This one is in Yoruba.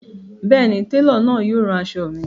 Bẹẹni, telo náà yóò rán aṣọ̣ mi.